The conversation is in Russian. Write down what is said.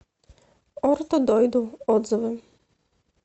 орто дойду отзывы